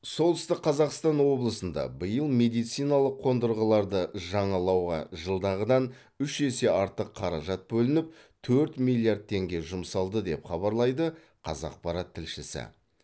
солтүстік қазақстан облысында биыл медициналық қондырғыларды жаңалауға жылдағыдан үш есе артық қаражат бөлініп төрт миллиард теңге жұмсалды деп хабарлайды қазақпарат тілшісі